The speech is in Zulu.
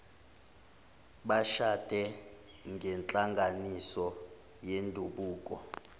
bashade ngenhlanganiso yendabuko